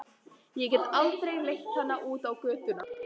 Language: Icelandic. Ég get aldrei leitt hana út á götuna.